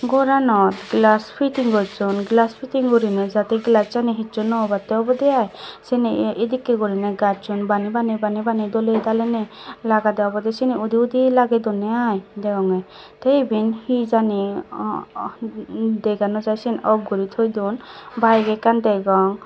goranot glass fiting gochon glass fitting gurine jadi glass chani hichu no onbattey obode ai seyani edekke gurine gachun bani bani bani bani dole dali ne lagade obode sini udi udi lage donde ai degonge te eben hejini dega no jai off guri toi don bike ekkan degong.